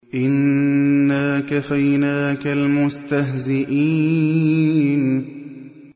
إِنَّا كَفَيْنَاكَ الْمُسْتَهْزِئِينَ